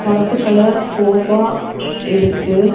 கருப்பு colour sofa இருக்கு.